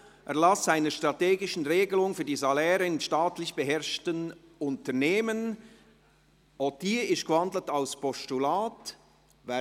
«Erlass einer strategischen Regelung für die Saläre in staatlich beherrschten Unternehmen» Auch diese wurde in ein Postulat gewandelt.